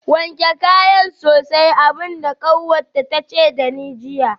Wanke kayan sosai abin da kanwata ta ce da ni jiya